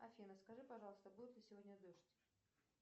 афина скажи пожалуйста будет ли сегодня дождь